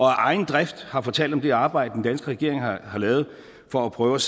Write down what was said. egen drift har fortalt om det arbejde den danske regering har lavet for at prøve